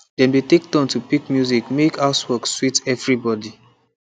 dem dey take turn to pick music mek housework sweet evribody